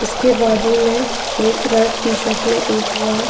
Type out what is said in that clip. इसके बाजू में एक रेड टी-शर्ट में एक बॉय --